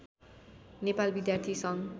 नेपाल विद्यार्थी सङ्घ